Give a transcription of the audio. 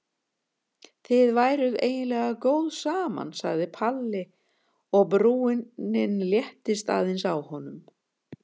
Þið væruð eiginlega góð saman sagði Palli og brúnin léttist aðeins á honum.